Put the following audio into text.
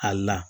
Ali n'a la